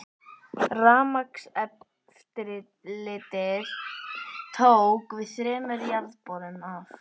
Rafmagnseftirlitið tók við þremur jarðborum af